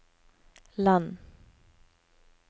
land